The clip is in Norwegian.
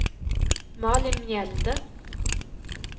Malin Mjelde